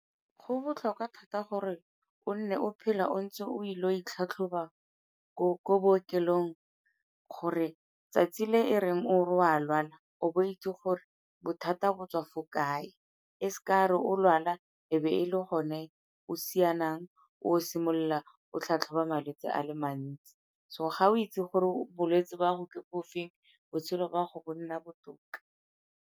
Go botlhokwa thata gore o nne o phele o ntse o ile go itlhatlhoba ko bookelong gore 'tsatsi le e reng o re o a lwana o bo o itse gore bothata bo tswa fo kae, e seka re o lwala e be e le gone o sianang o simolola o tlhatlhoba malwetsi a le mantsi. So ga o itse gore bolwetsi ba go ke bo feng, botshelo ba go bo nna botoka.